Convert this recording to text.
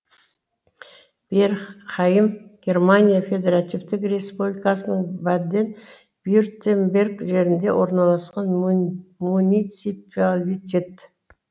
беркхайм германия федеративтік республикасының баден вюртемберг жерінде орналасқан муниципалитет